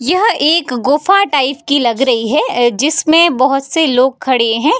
यह एक गुफा टाइप की लग रही है अ जिसमें बहुत से लोग खड़े हैं।